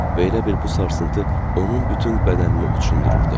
Və elə bil bu sarsıntı onun bütün bədənini uçundururdu.